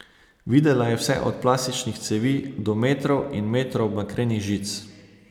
Videla je vse od plastičnih cevi do metrov in metrov bakrenih žic.